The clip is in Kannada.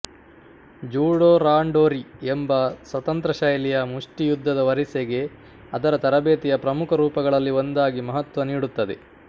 ಜೂಡೋ ರಾಂಡೊರಿ ಎಂಬ ಸ್ವತಂತ್ರಶೈಲಿಯ ಮುಷ್ಟಿ ಯುದ್ಧದ ವರಿಸೆಗೆ ಅದರ ತರಬೇತಿಯ ಪ್ರಮುಖ ರೂಪಗಳಲ್ಲಿ ಒಂದಾಗಿ ಮಹತ್ವ ನೀಡುತ್ತದೆ